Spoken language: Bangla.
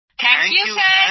thank you sir